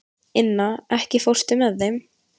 Inna, ekki fórstu með þeim?